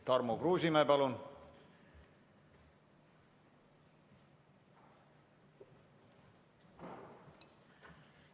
Tarmo Kruusimäe, palun!